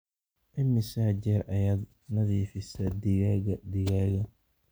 immisa jeer ayaad nadiifisaa digaagga digaagga